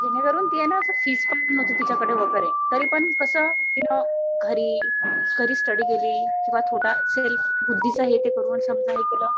जेणेकरून ती ना अस फीस पण नव्हती तिच्याकडे वगैरे. तरीपण कसं तिने घरी घरीच स्टडी केली. थोडा सेल्फ बुद्धीचा हे ते करून समजा हे केलं.